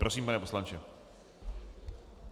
Prosím, pane poslanče.